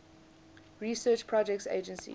research projects agency